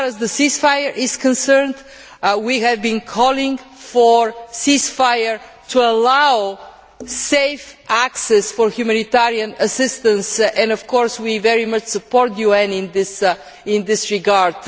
As far as the ceasefire is concerned, we have been calling for a ceasefire to allow safe access for humanitarian assistance and, of course, we very much support the UN in this regard.